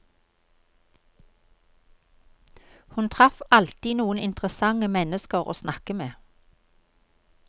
Hun traff alltid noen interessante mennesker å snakke med.